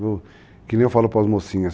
Que nem eu falo para as mocinhas.